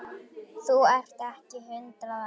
Þú ert ekki hundrað ára!